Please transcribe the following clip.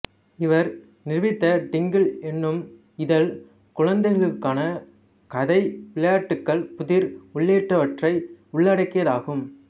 இவர் நிறுவித்த டிங்கிள் என்னும் இதழ் குழந்தைக்களுக்கான கதை விளையாட்டுக்கள் புதிர் உள்ளிட்டவற்றை உள்ளடக்கியதாகும்